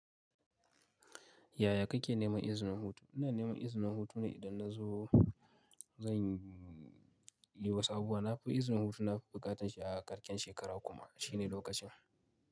Yaya kake neman izinin hutu? Ina neman izinin hutu ne idan na zo zan yi wasu abubuwa. Na fi izinin hutu, na fi buƙatan shi a ƙarƙen shekara kuma shine lokacin.